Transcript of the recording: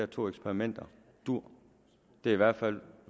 to eksperimenter duer det er i hvert fald